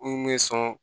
N kun bɛ sɔn